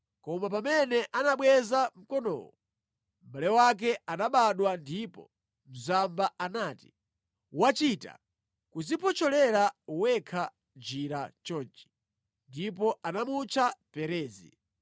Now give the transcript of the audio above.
Koma pamene anabweza mkonowo, mʼbale wake anabadwa ndipo mzamba anati, “Wachita kudziphotcholera wekha njira chonchi!” Ndipo anamutcha Perezi.